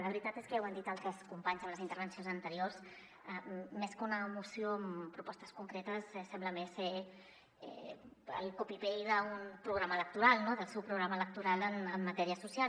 la veritat és que ja ho han dit altres companys en les in·tervencions anteriors més que una moció amb propostes concretes sembla més el copy paste d’un programa electoral no del seu programa electoral en matèria so·cial